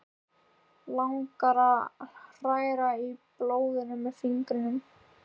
Langar að hræra í blóðinu með fingrunum.